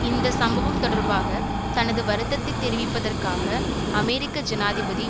இந்த சம்பவம் தொடர்பாக தனது வருத்தத்தை தெரிவிப்பதற்காக அமெரிக்க ஜனாதிபதி